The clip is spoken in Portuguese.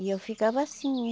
E eu ficava assim